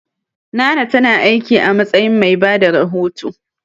Nana ta na aiki a matsayin mai bada rahoto